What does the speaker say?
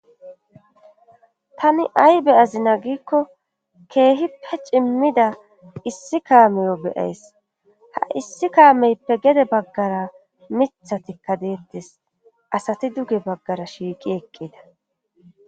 tani beyazina giikko keehippe cimmida issi kaameyo beyays ha issi kaameyppe gede baggara mitha tikka deettis asati duge baggara shiiqi eqqida